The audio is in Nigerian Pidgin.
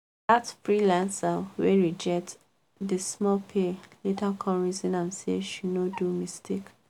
that freelancer wey reject the small pay later come reason am say she no do mistake.